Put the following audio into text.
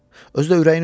Özü də ürəyini üzmə.